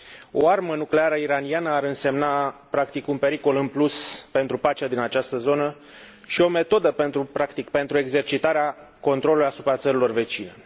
O armă nucleară iraniană ar însemna practic un pericol în plus pentru pacea din această zonă și o metodă pentru exercitarea controlului asupra țărilor vecine.